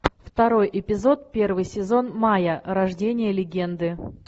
второй эпизод первый сезон майя рождение легенды